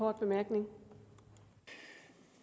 jeg